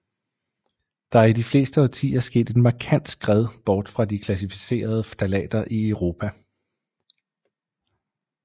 Der er i de seneste årtier sket et markant skred bort fra de klassificerede ftalater i Europa